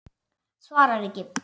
Svarar ekki.